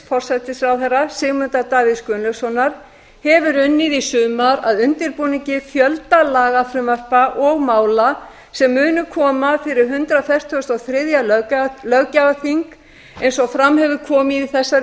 forsætisráðherra sigmundar davíðs gunnlaugssonar hefur unnið í sumar að undirbúningi fjölda lagafrumvarpa og mála sem munu koma fyrir hundrað fertugasta og þriðja löggjafarþing eins og fram hefur komið í þessari